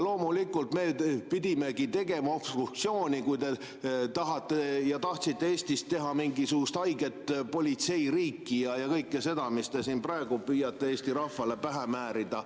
Loomulikult, me pidime tegema obstruktsiooni, kui te tahtsite Eestist teha mingisugust haiget politseiriiki ja kõike seda, mida te siin praegu püüate Eesti rahvale pähe määrida.